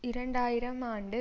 இரண்டு ஆயிரம் ஆண்டு